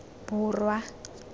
borwa